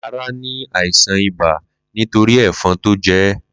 Lará ní àìsàn ibà nítorí ẹ̀fan tó jẹ́ẹ́.